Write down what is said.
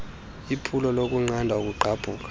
lephulo lokunqanda ukugqabhuka